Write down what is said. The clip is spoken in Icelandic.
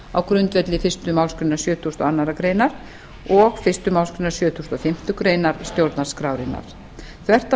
á grundvelli fyrstu málsgrein sjötugustu og annarrar greinar og fyrstu málsgrein sjötugustu og fimmtu grein stjórnarskrárinnar þvert á